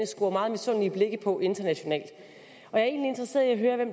scorer mange misundelige blikke på internationalt